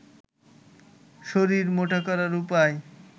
শরীর মোটা করার উপায়